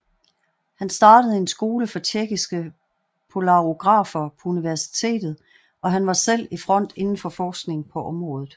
Han startede en skole for tjekkiske polarografer på universitet og han var selv i front inden for forskning på området